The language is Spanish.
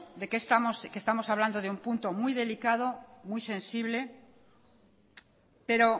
que estamos hablando de un punto muy delicado muy sensible pero